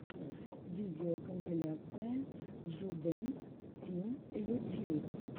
видеокомпиляция джудэнс тим ютьюб